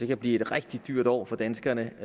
kan blive et rigtig dyrt år for danskerne